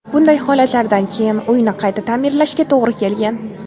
Bunday holatlardan keyin uyni qayta ta’mirlashga to‘g‘ri kelgan.